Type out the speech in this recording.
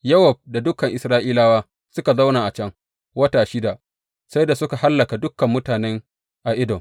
Yowab da dukan Isra’ilawa suka zauna a can, wata shida, sai da suka hallaka dukan mutane a Edom.